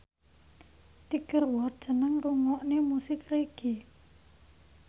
Tiger Wood seneng ngrungokne musik reggae